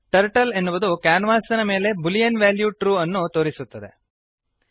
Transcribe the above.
turtle ಎನ್ನುವುದು ಕ್ಯಾನ್ವಾಸಿನ ಮೇಲೆ ಬೂಲಿಯನ್ ವ್ಯಾಲ್ಯೂ ಟ್ರೂ ಅನ್ನು ತೋರಿಸುತ್ತದೆ